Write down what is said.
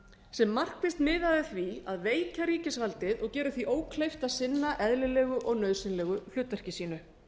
sem markvisst miðaði að því að veikja ríkisvaldið og gera því ókleift að sinna eðlilegu og nauðsynlegu hlutverki sínu